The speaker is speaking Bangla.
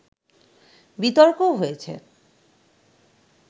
বিতর্কও হয়েছে